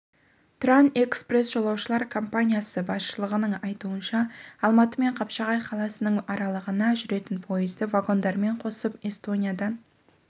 тұран экспресс жолаушылар компаниясы басшылығының айтуынша алматы мен қапшағай қаласының аралығына жүретін пойызды вагондарымен қосып эстониядан